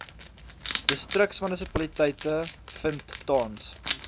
distriksmunisipaliteite vind tans